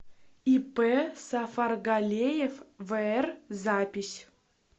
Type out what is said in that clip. ип сафаргалеев вр запись